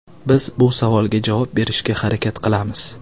Biz bu savolga javob berishga harakat qilamiz.